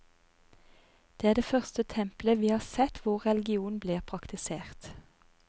Det er det første templet vi har sett hvor religion blir praktisert.